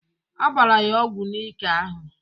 Agbara ya ọgwụ n'ike ahụ.